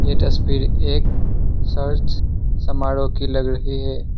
ये तस्वीर एक सर्च समारोह की लग रही है।